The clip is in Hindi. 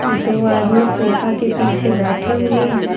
दो आदमी सोफा के पीछे बैठे हुए हैं।